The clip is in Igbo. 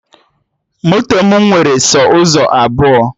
Moto mụ nwere sọ ụzọ abụọ